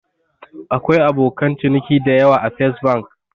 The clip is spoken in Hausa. Akwai abokan ciniki dayawa a Fes Bank